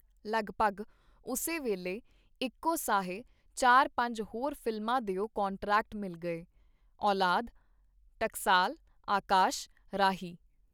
ਲਗਭਗ ਉਸੇ ਵੇਲੇ ਇਕੋ ਸਾਹੇ ਚਾਰ-ਪੰਜ ਹੋਰ ਫ਼ਿਲਮਾਂ ਦਿਓ ਕਾਂਟਰੈਕਟ ਮਿਲ ਗਏ - ਔਲਾਦ, ਟਕਸਾਲ, ਆਕਾਸ਼, ਰਾਹੀ.